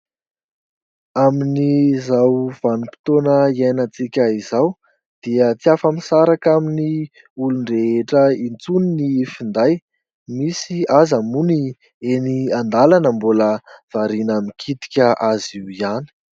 Amin'izao vanim-potoana iainantsika izao dia tsy afa-misaraka amin'ny olon-drehetra intsony ny finday. Misy aza moa ny eny an-dalana mbola variana mikitika azy io ihany.